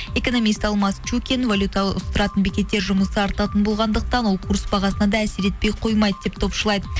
экономист алмас чукин волюта ауыстыратын бекеттер жұмысы артатын болғандықтан ол курс бағасына да әсер етпей қоймайды деп топшылайды